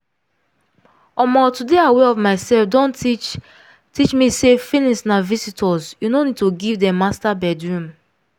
omo to dey aware of myself don teach teach me say feelings na visitors you no need to give dem master bedroom.